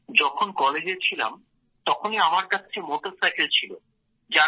sir যখন কলেজে ছিলাম তখনই আমার কাছে মোটরসাইকেল ছিল